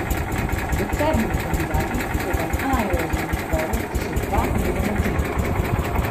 Med sedmimi kandidati so v najožjem izboru še dva oziroma trije.